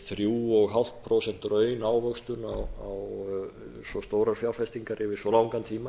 þriggja og hálft prósent raunávöxtun á svo stórar fjárfestinga yfir svo langan tíma